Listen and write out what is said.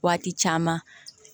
Waati caman